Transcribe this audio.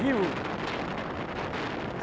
Viúvo.